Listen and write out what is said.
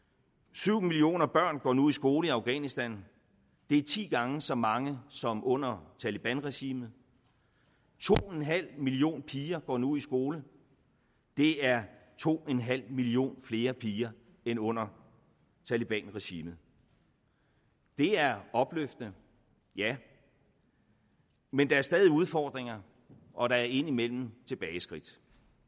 syv millioner børn går nu i skole i afghanistan det er ti gange så mange som under talebanregimet to en halv million piger går nu i skole det er to en halv million flere piger end under talebanregimet det er opløftende ja men der er stadig udfordringer og der er indimellem tilbageskridt